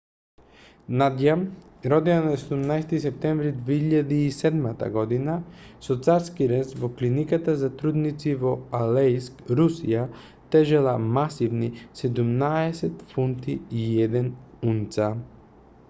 надја родена на 17-ти септември 2007 година со царски рез во клиниката за трудници во алејск русија тежела масивни 17 фунти и 1 унца